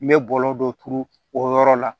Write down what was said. N bɛ bɔlɔlɔ dɔ turu o yɔrɔ la